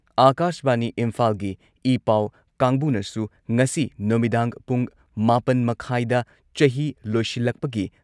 ꯑꯥꯀꯥꯁꯕꯥꯅꯤ ꯏꯝꯐꯥꯜꯒꯤ ꯏꯄꯥꯎ ꯀꯥꯡꯕꯨꯅꯁꯨ ꯉꯁꯤ ꯅꯨꯃꯤꯗꯥꯡ ꯄꯨꯡ ꯃꯥꯄꯟ ꯃꯈꯥꯏꯗ ꯆꯍꯤ ꯂꯣꯏꯁꯤꯜꯂꯛꯄꯒꯤ